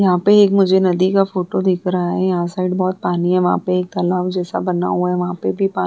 यहाँ पे एक मुझे नदी का फोटो दिख रहा है । यहाँ साइड बोहोत पानी है । वहां पे एक तालाब जैसा बना हुआ है । वहां पे भी पानी --